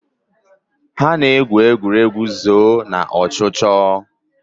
Ha na-egwu egwuregwu zoo na ọchụchọ.